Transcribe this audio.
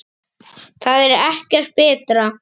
Það er ekkert betra.